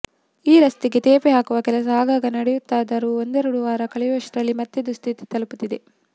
ಈ ರಸ್ತೆಗೆ ತೇಪೆ ಹಾಕುವ ಕೆಲಸ ಆಗಾಗ ನಡೆಯುತ್ತದಾದರೂ ಒಂದೆರಡು ವಾರ ಕಳೆಯುವಷ್ಟರಲ್ಲಿ ಮತ್ತೆ ದುಸ್ಥಿತಿ ತಲುಪುತ್ತದೆ